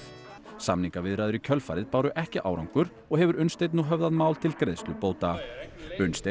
samningaviðræður í kjölfarið báru ekki árangur og hefur Unnsteinn nú höfðað mál til greiðslu bóta Unnsteinn